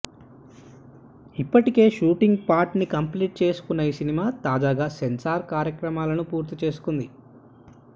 ఇప్పటికే shooting part ని complete చేసుకున్నా ఈ సినిమా తాజాగా సెన్సార్ కార్యక్రమాలను పూర్తి చేసుకుంది